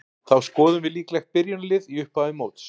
Þá skoðum við líklegt byrjunarlið í upphafi móts.